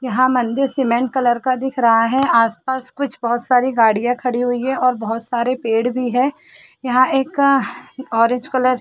यहाँ मंदिर cement colour का दिख रहा है आस पास कुछ बहुत सारी गाड़िया खड़ी हुई है और बहुत सारे पेड़ भी है यहाँ एक ऑरेंज कलर --